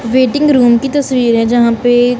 waiting room की तस्वीर जहां पे--